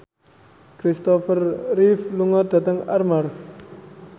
Kristopher Reeve lunga dhateng Armargh